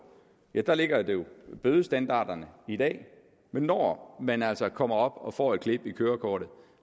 ligger bødestandarderne i dag men når man altså kommer op og får et klip i kørekortet